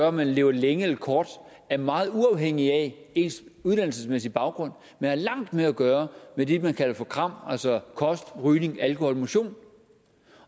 om man lever længe eller kort er meget uafhængige af ens uddannelsesmæssige baggrund men har langt mere at gøre med det man kalder for kram altså kost rygning alkohol og motion